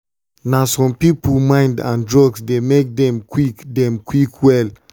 na some people mind and drugs dey make them quick them quick well.